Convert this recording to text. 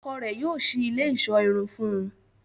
Ọ́kọ rẹ yóò ṣii ile iṣọ irun fun ù